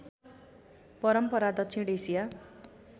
परम्परा दक्षिण एसिया